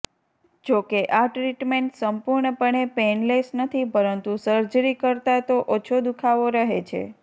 જોકે આ ટ્રિટમેન્ટ સંપૂર્ણપણે પેઇનલેસ નથી પરંતુ સર્જરી કરતા તો ઓછો દુઃખાવો રહે છે